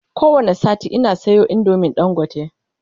ko wani sati Ina Sayo indomin dangote